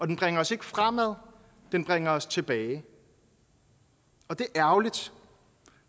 den bringer os ikke fremad den bringer os tilbage og det er ærgerligt